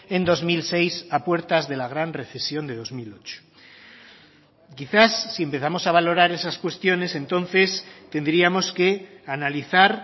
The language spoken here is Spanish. en dos mil seis a puertas de la gran recesión de dos mil ocho quizás si empezamos a valorar esas cuestiones entonces tendríamos que analizar